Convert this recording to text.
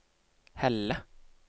Helle